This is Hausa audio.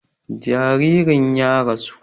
Jaririn ya rasu